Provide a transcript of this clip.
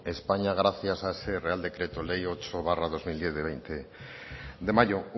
españa gracias a ese real decreto ley ocho barra dos mil diez del veinte de mayo